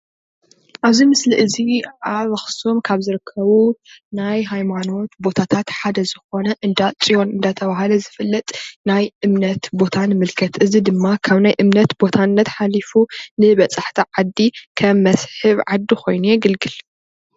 ኣብዚ ምስሊ እዚ ኣብ ኣኽሱም ካብ ዝርከቡ ናይ ሃይማኖት ቦታታት ሓደ ዝኾነ እንዳፅዮን እናተብሃለ ዝፍለጥ ናይ እምነት ቦታ ንምልከት። እዚ ድማ ካብ ናይ እምነት ቦታነት ሓሊፉ ንበፃሕቲ ዓዲ ከም መስሕብ ዓዲ ኮይኑ የገልግል፡፡